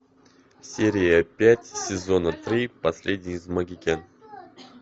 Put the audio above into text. серия пять сезона три последний из магикян